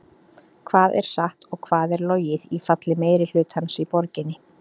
Hvað er satt og hvað er logið í falli meirihlutans í borginni?